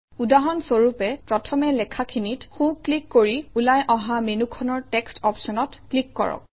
উদাহৰণ স্বৰূপে প্ৰথমে লেখাখিনিত সোঁ ক্লিক কৰি ওলাই অহা মেনুখনৰ টেক্সট অপশ্যনত ক্লিক কৰক